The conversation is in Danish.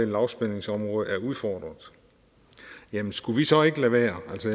lavspændingsområde er udfordret jamen skulle vi så ikke lade være altså